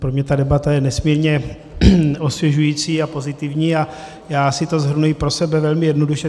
Pro mě ta debata je nesmírně osvěžující a pozitivní a já si to shrnuji pro sebe velmi jednoduše.